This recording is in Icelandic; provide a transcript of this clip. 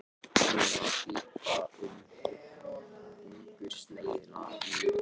Hún las líka um hungursneyðina í